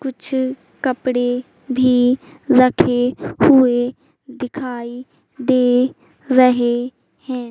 कुछ कपड़े भी रखे हुए दिखाई दे रहे हैं।